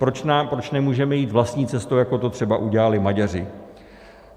Proč nemůžeme jít vlastní cestou, jako to třeba udělali Maďaři?